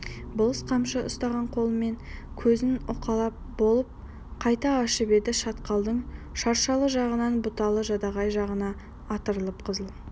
болыс қамшы ұстаған қолымен көзін уқалап болып қайта ашып еді шатқалдың шыршалы жағынан бұталы жадағай жағына атырылып қызыл